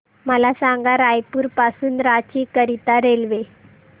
मला सांगा रायपुर पासून रांची करीता रेल्वे